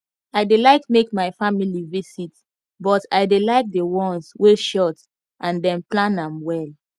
i dey like make my family visit but i dey like the ones wey short and dem plan am well